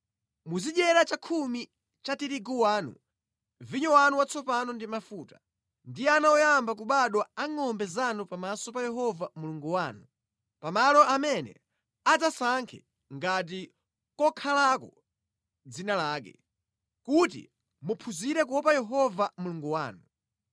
Muzidyera chakhumi cha tirigu wanu, vinyo wanu watsopano ndi mafuta, ndi ana oyamba kubadwa a ngʼombe zanu pamaso pa Yehova Mulungu wanu pa malo amene adzasankhe ngati kokhalako dzina lake, kuti muphunzire kuopa Yehova Mulungu wanu.